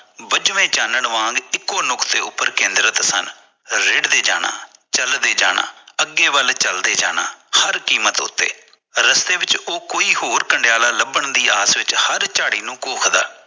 ਬੁਜਵੇਂ ਚਾਨਣ ਵਾਂਗ ਇਕੋ ਨੁਕਸੇਉਪਰ ਕੇਂਦਰਤ ਸਨ ਰਿੜ੍ਹਦੇ ਜਾਣਾ ਚਲਦੇ ਜਾਣਾ ਅੱਗੇ ਵੱਲ ਚਲਦੇ ਜਾਣਾ ਹਰ ਕੀਮਤ ਉੱਤੇ ਰਸਤੇ ਵਿੱਚ ਉਹ ਕੋਈ ਹੋਰ ਕੰਡਿਆਲਾ ਲਬਣ ਦੀ ਆਸ ਵਿੱਚ ਹਰ ਝਾੜੀ ਨੂੰ ਕੋਖਦਾ